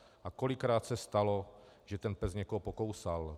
A kolikrát se stalo, že ten pes někoho pokousal.